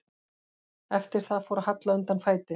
Eftir það fór að halla undan fæti.